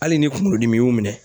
Hali ni kunkolodimi y'u minɛn